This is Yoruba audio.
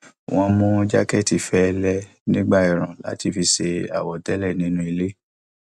wọn ń mú jákẹẹtì fẹlẹ nígbà ẹẹrùn láti fi ṣe àwọtẹlẹ nínú ilé